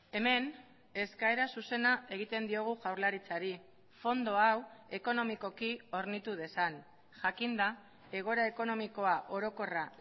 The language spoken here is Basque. hemen eskaera zuzena egiten diogu jaurlaritzari fondo hau ekonomikoki hornitu dezan jakinda egoera ekonomikoa orokorra